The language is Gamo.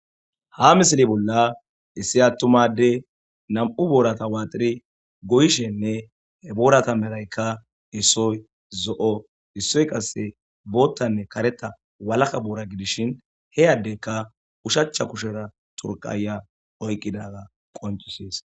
Ha misili bolla issi attumadey nam'u boorata waaxiri goyishenne he boorata meraykka issoy zo'o issoy qase boottanne kareta walaka boora gidishin heyaddeykka ushacha kushera turqaya oyqqidaga qoncisees.